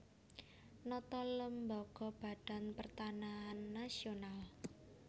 Nata lembaga Badan Pertanahan Nasional